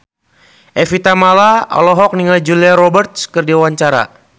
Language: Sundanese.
Evie Tamala olohok ningali Julia Robert keur diwawancara